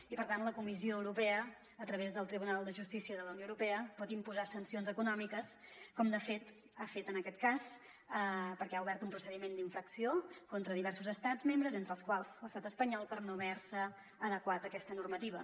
i per tant la comissió eu·ropea a través del tribunal de justícia de la unió europea pot imposar sancions econòmiques com de fet ha fet en aquest cas perquè ha obert un procediment d’in·fracció contra diversos estats membres entre els quals l’estat espanyol per no haver adequat aquesta normativa